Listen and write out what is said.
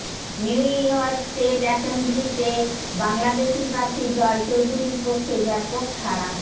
New York state এসেম্বলিতে বাংলাদেশী প্রার্থী জয় চৌধুরীর পক্ষে ব্যাপক সাড়া